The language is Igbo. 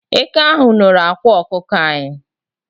Eke ahu nọrọ ákwà ọkụkọ anyi